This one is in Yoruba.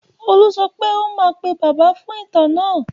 Olú sọ pé ó máa pè Bàbá fún ìtàn náà?